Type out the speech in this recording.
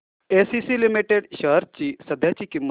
ACC limited shares ची सध्याची किंमत